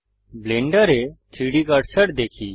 ব্লেন্ডারে 3ডি কার্সার দেখি